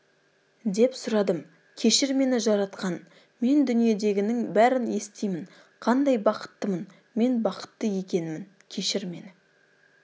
деп сұрадым кешір мені жаратқан мен дүниедегінің бәрін естимін қандай бақыттымын мен бақытты екенмін кешір мені